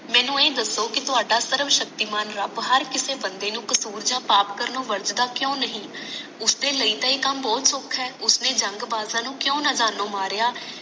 ਮੈਨੂੰ ਇਹ ਦਸੋ ਕਿ ਤੁਹਾਡਾ ਸਰਵਸ਼ਕਤੀਮਾਨ ਰੱਬ ਹਰ ਕਿਸੇ ਬੰਦੇ ਨੂੰ ਕਸੂਰ ਯਾ ਪਾਪ ਕਰਨੋ ਵਰਜਦਾ ਕਿਉਂ ਨਹੀਂ ਉਸਦੇ ਲਈ ਤਾਂ ਇਹ ਕੱਮ ਬਹੁਤ ਸੌਖਾ ਹੈ ਉਸਨੇ ਜੰਗ ਬਾਦਸ਼ਾਹ ਨੂੰ ਕਿਉਂ ਨਾਦਾਨੋਂ ਮਾਰਿਆ